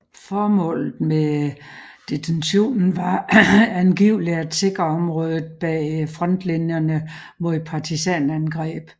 Formålet med detentionen var angiveligt at sikre området bag frontlinjerne mod partisanangreb